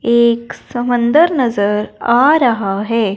एक समंदर नजर आ रहा है।